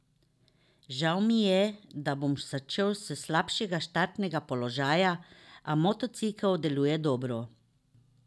Žal mi je, da bom začel s slabšega štartnega položaja, a motocikel deluje dobro.